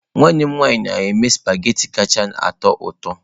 Nwanne m nwanyị na-eme sụpaghetị kacha atọ ụtọ.